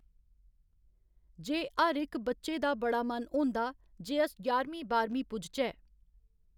जे हर इक बच्चे दा बड़ा मन होंदा जे अस ञारमीं बाह्‌रमीं पुज्जचै।